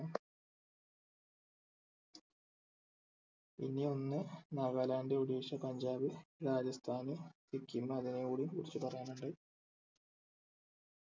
പിന്നെ ഒന്ന് നാഗാലാൻഡ് ഒഡീഷ പഞ്ചാബ് രാജസ്ഥാൻ സിക്കിം അതിനെ കൂടി കുറിച്ച് പറയാൻ ഇണ്ട്